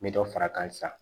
N bɛ dɔ far'a kan sisan